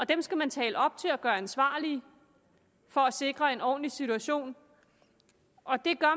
dem skal man tale op til og gøre ansvarlige for at sikre en ordentlig situation og det gør